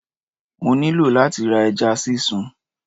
Mo nílò láti ra ẹja sísun